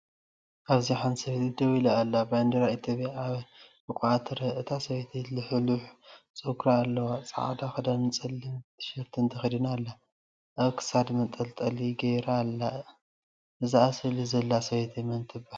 እዚ ሓንቲ ሰበይቲ ደው ኢላ ኣላ። ባንዴራ ኢትዮጵያ ኣብ ሕቖኣ ትርአ። እታ ሰበይቲ ልሕሉሕ ጸጉራ ኣለዋ፡ ጻዕዳ ክዳንን ጸሊም ቲሸርትን ተኸዲና ኣላ። ኣብ ክሳዳ መንጠልጠሊ ገይራ ኣለ። እዛ ኣብ ስእሊ ዘላ ሰበይቲ መን ትባሃል?